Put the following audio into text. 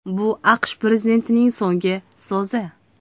Bu AQSh prezidentining so‘nggi so‘zi”.